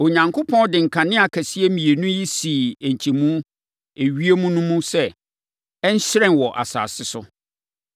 Onyankopɔn de nkanea akɛseɛ mmienu yi sii nkyɛmu ewiem no mu sɛ, ɛnhyerɛn wɔ asase so,